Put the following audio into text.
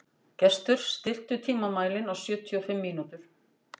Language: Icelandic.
Gestur, stilltu tímamælinn á sjötíu og fimm mínútur.